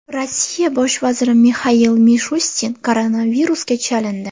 Rossiya bosh vaziri Mixail Mishustin koronavirusga chalindi.